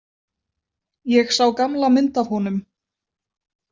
Ég sá gamla mynd af honum.